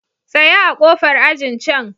Tsaya a ƙofar ajin can.